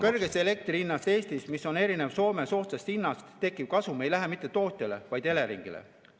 Kõrgest elektri hinnast Eestis, mis on erinev Soome soodsast hinnast, tekkiv kasum ei lähe mitte tootjale, vaid Eleringile.